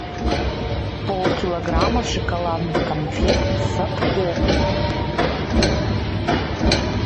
полкилограмма шоколадных конфет садко